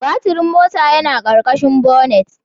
Baturin mota yana ƙarƙashin bonnet.